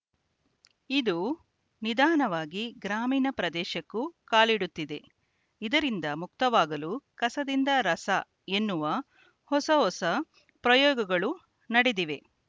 ಇದು ನಿಧಾನವಾಗಿ ಗ್ರಾಮೀಣ ಪ್ರದೇಶಕ್ಕೂ ಕಾಲಿಡುತ್ತಿದೆ ಇದರಿಂದ ಮುಕ್ತವಾಗಲು ಕಸದಿಂದ ರಸ ಎನ್ನುವ ಹೊಸ ಹೊಸ ಪ್ರಯೋಗಗಳು ನಡೆದಿವೆ